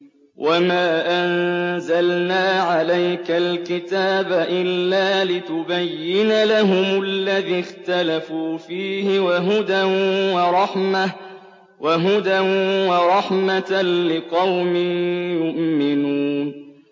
وَمَا أَنزَلْنَا عَلَيْكَ الْكِتَابَ إِلَّا لِتُبَيِّنَ لَهُمُ الَّذِي اخْتَلَفُوا فِيهِ ۙ وَهُدًى وَرَحْمَةً لِّقَوْمٍ يُؤْمِنُونَ